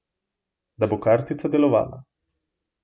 Da bo kartica delovala.